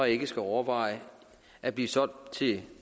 ikke skal overveje at blive solgt til